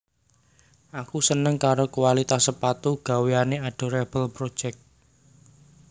Aku seneng karo kualitas sepatu gaweane Adorable Project